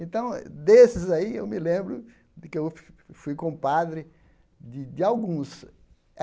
Então, desses aí, eu me lembro de que eu fu fui compadre de de alguns.